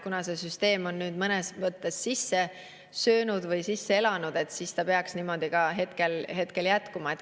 Kuna see süsteem on mõnes mõttes sisse elanud, siis ta peaks niimoodi jätkuma.